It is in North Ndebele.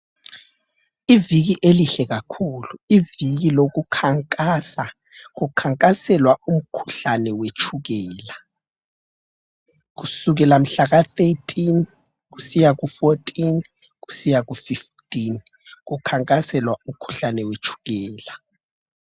Iviki elihle kakhulu, iviki lokukhankasa. Kukhankaselwa umkhuhlane wetshukela. Kusukela mhlaka 13, kusiya ku 14, kusiya ku 15 kukhankaselwa umkhuhlane wetshukela.